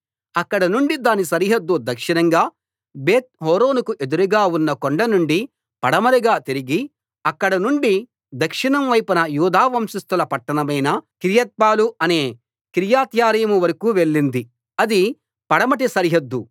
అక్కడ నుండి దాని సరిహద్దు దక్షిణంగా బేత్‌హోరోనుకు ఎదురుగా ఉన్న కొండనుండి పడమరగా తిరిగి అక్కడ నుండి దక్షిణం వైపున యూదా వంశస్థుల పట్టణమైన కిర్యాత్బాలు అనే కిర్యత్యారీము వరకూ వెళ్ళింది అది పడమటి సరిహద్దు